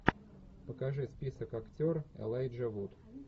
покажи список актер элайджа вуд